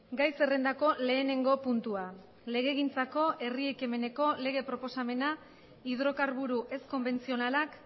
gai zerrendako lehenengo puntua legegintzako herri ekimeneko lege proposamena hidrokarburo ez konbentzionalak